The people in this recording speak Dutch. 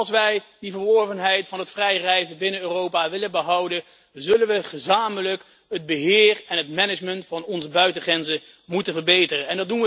Als wij die verworvenheid van het vrije reizen binnen Europa willen behouden, zullen we gezamenlijk het beheer en het management van onze buitengrenzen moeten verbeteren.